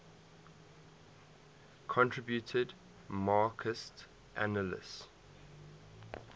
contributed marxist analyses